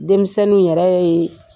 Denmisɛnw yɛrɛ ye